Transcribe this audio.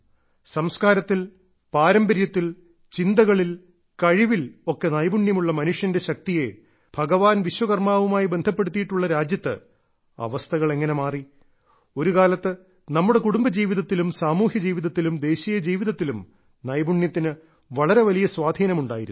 സംസ്കാരത്തിൽ പാരമ്പര്യത്തിൽ ചിന്തകളിൽ കഴിവിൽ ഒക്കെ നൈപുണ്യമുള്ള മനുഷ്യന്റെ ശക്തിയെ ഭഗവാൻ വിശ്വകർമ്മാവുമായി ബന്ധപ്പെടുത്തിയിട്ടുള്ള രാജ്യത്ത് അവസ്ഥകൾ എങ്ങനെ മാറി ഒരുകാലത്ത് നമ്മുടെ കുടുംബജീവിതത്തിലും സാമൂഹ്യജീവിതത്തിലും ദേശീയ ജീവിതത്തിലും നൈപുണ്യത്തിന് വളരെ വലിയ സ്വാധീനമുണ്ടായിരുന്നു